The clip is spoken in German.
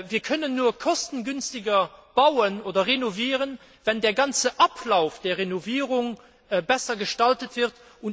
Wir können nämlich nur kostengünstiger bauen oder renovieren, wenn der ganze Ablauf der Renovierung besser gestaltet wird.